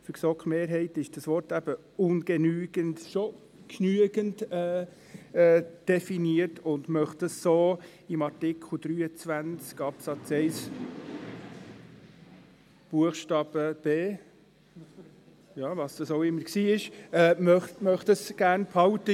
Für die GSoK-Mehrheit ist das Wort «ungenügend» schon genügend definiert, und sie möchte das so in Artikel 23 Absatz 1 Buchstabe b– was das auch immer gewesen sein mag – behalten.